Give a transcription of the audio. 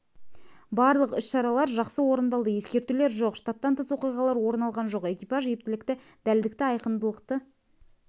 барлық іс-шаралар жақсы орындалды ескертулер жоқ штаттан тыс оқиғалар орын алған жоқ экипаж ептілікті дәлдікті айқындылықты